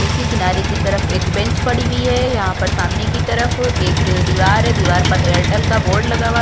देखिए किनारे की तरफ एक बेंच पड़ी हुई है यहाँ पर सामने की तरफ एक दीवार है दीवार पर एयरटेल का बोर्ड लगा हुआ--